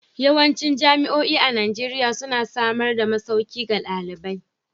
Yawancin jami'o'i a Najeriya suna samar da masauki ga dalibai.